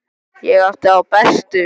Ég átti þá bestu.